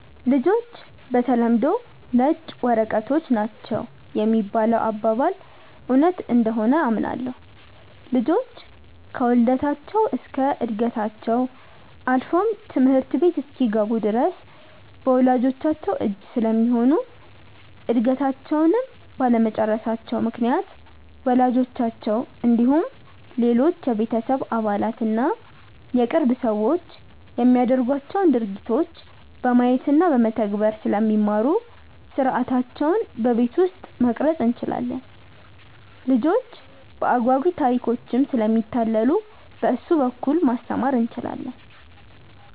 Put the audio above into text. ''ልጆች በተለምዶ ነጭ ወረቀቶች ናቸው ''የሚባለው አባባል እውነት እንደሆነ አምናለሁ። ልጆች ከውልደታቸው እስከ ዕድገታቸው አልፎም ትምህርት ቤት እስኪገቡ ድረስ በወላጅቻቸው እጅ ስለሚሆኑ እድገታቸውንም ባለመጨረሳቸው ምክንያት ወላጆቻቸው እንዲሁም ሌሎች የቤተሰብ አባላት እና የቅርብ ሰዎች የሚያደርጓቸውን ድርጊቶች በማየት እና በመተግበር ስለሚማሩ ሥርዓታቸውን በቤት ውስጥ መቅረፅ እንችላለን። ልጆች በአጓጊ ታሪኮችም ስለሚታለሉ በእሱ በኩል ማስተማር እንችላለን።